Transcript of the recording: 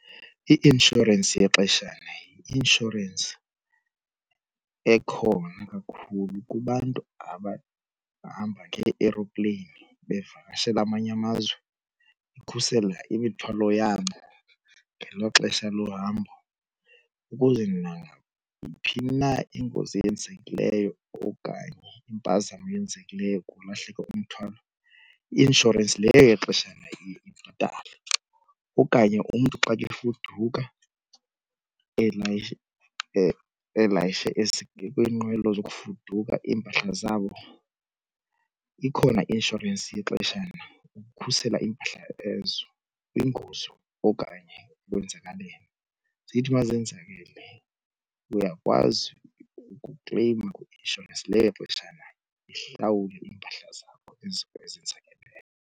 I-inshorensi yexeshana yi-inshorensi ekhona kakhulu kubantu ababhabha nge-eropleyini bavakashele amanye amazwe ikhusela imithwalo yabo ngelo xesha lohambo. Ukuze nayiphi babo na ingozi eyenzekileyo okanye impazamo eyenzekileyo kwalahleka umthwalo i-inshorensi yexeshana ibhatale. Okanye umntu xa efuduka elayishe elayishe kwiinqwelo zokufuduka iimpahla zabo ikhona i-inshorensi yexeshana ukukhusela iimpahla ezo kwingozi okanye okwenzakaleyo. Zithi uma zenzekile uyakwazi ukukleyima kwi-inshorensi leyo yexeshana ihlawule iimpahla zakho ezo ezenzakeleyo.